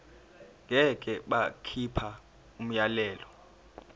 ngeke bakhipha umyalelo